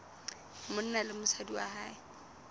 monna le mosadi wa hae